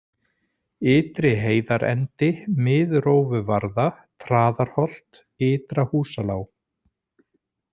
Ytri-Heiðarendi, Miðrófuvarða, Traðarholt, Ytra-Húsalág